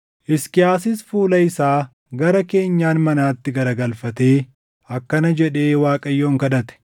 Hisqiyaasis fuula isaa gara keenyan manaatti garagalfatee akkana jedhee Waaqayyoon kadhate;